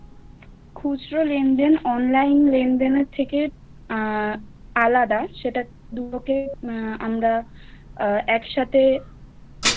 খুচরো লেনদেন অনলাইন লেনদেনের থেকে আর আলাদা সেটা দুটোকে আমরা একসাথে।